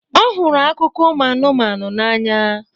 ọ hụrụ akụkọ ụmụ anụmanụ n'anya